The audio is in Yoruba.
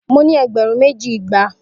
Mo ni egberun meji igba